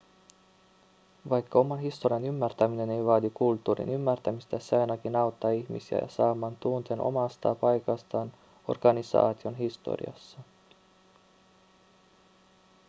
vaikka oman historian ymmärtäminen ei vaadi kulttuurin ymmärtämistä se ainakin auttaa ihmisiä saamaan tunteen omasta paikastaan organisaation historiassa